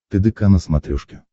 тдк на смотрешке